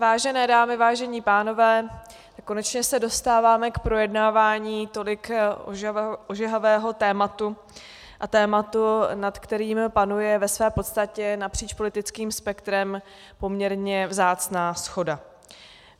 Vážené dámy, vážení pánové, konečně se dostáváme k projednávání tolik ožehavého tématu a tématu, nad kterým panuje ve své podstatě napříč politickým spektrem poměrně vzácná shoda.